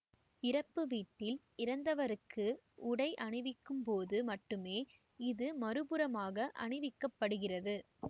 இறப்பு வீட்டில் இறந்தவருக்கு உடை அணிவிக்கும்போது மட்டுமே இது மறுபுறமாக அணிவிக்கப்படுகிறது